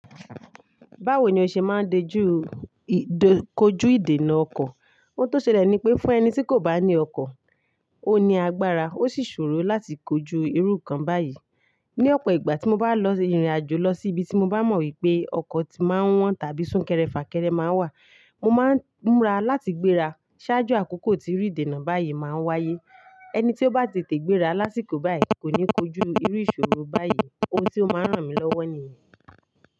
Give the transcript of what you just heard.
Báwo ni o ṣe máa ń dojú ì, dojú kojú ìdènà ọkọ̀? Ohun tó ṣẹlẹ̀ ni pé fún ẹni tí kò bá ní ọkọ̀, ó ní agbára, ó sì ṣòro láti kojú irú kan báyìí. Ni ọ̀pọ̀ ìgbà tí mo bá lọ ìrìnàjò lọ sí ibi tí mo bá mọ̀ wípé ọkọ̀ ti máa wọ́n tàbí súnkẹrẹ fàkẹrẹ máa wà, mo máa ń múra láti gbéra. Ṣáájú àkókò tí irú ìdènà báyìí máa ń wáyé. Ẹni tí ó bá tètè gbéra lásìkò báyìí kò ní kojú irú ìṣòro báyìí. Ohun tí ó máa ń ràn mí lọ́wọ́ nìyẹn.